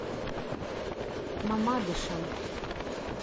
мамадышем